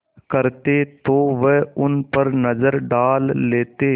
करते तो वह उन पर नज़र डाल लेते